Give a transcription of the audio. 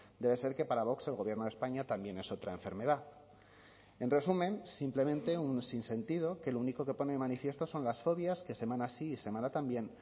debe ser que para vox el gobierno de españa también es otra enfermedad en resumen simplemente un sinsentido que lo único que pone de manifiesto son las fobias que semana sí y semana también